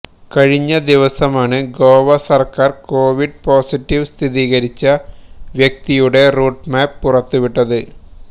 കഴിഞ്ഞ ദിവസമാണ് ഗോവ സർക്കാർ കൊവിഡ് പോസിറ്റീവ് സ്ഥിരീകരിച്ച വ്യക്തിയുടെ റൂട്ട് മാപ്പ് പുറത്തുവിട്ടത്